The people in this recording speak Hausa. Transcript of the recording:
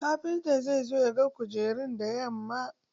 Kafinta zai zo ya ga kujerun da yamma.